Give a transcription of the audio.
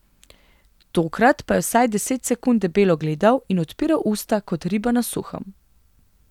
Tokrat pa je vsaj deset sekund debelo gledal in odpiral usta kot riba na suhem.